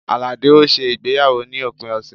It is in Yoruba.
Alade ó ṣe ìgbéyàwó ní òpin ọ̀sẹ̀